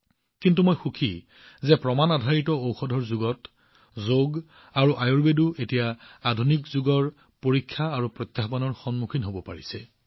কিন্তু মই সুখী যে প্ৰমাণআধাৰিত ঔষধৰ যুগত যোগ আৰু আয়ুৰ্বেদ এতিয়া আধুনিক যুগৰ পৰীক্ষাৰ স্পৰ্শকাতৰ বিষয়ৰ দৰে থিয় হৈ আছে